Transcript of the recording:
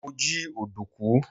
mo ji ọdunkun